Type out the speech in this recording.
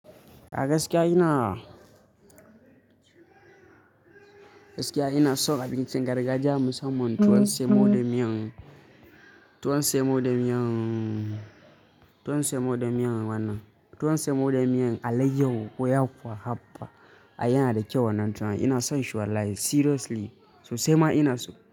Ka gaskiya ina? Gaskiya ina so abincin gargajiya musamman. Tuwon saimo da miyan, tuwon saimo da miyan, tuwon saimo da miyan wannan. Tuwon saimo da miyan alaiyahu ko yakuwa ai haba ai yanada kyau wannan tuwon. Ina son shi wallahi seriously. Sosaima ina so.